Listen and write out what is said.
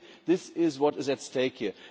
I think this is what is at stake here.